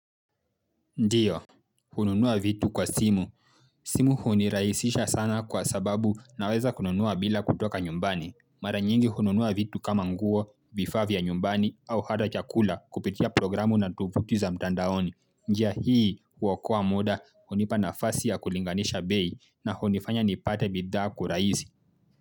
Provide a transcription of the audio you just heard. Ndio, hununua vitu kwa simu. Simu hunirahisisha sana kwa sababu naweza kununua bila kutoka nyumbani. Mara nyingi hununua vitu kama nguo, vifaa vya nyumbani au hata chakula kupitia programu na tovuti za mtandaoni. Njia hii huokoa muda hunipa nafasi ya kulinganisha bei na hunifanya nipate bidhaa kurahisi.